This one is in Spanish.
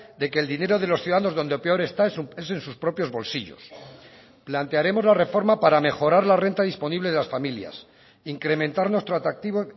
de que el dinero de los ciudadanos donde peor está es en sus propios bolsillos plantearemos la reforma para mejorar la renta disponible de las familias incrementar nuestro atractivo